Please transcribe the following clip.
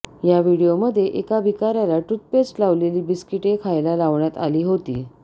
या व्हिडिओमध्ये एका भिकाऱ्याला टुथपेस्ट लावलेली बिस्किटे खायला लावण्यात आली होती